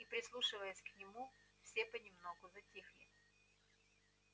и прислушиваясь к нему все понемногу затихли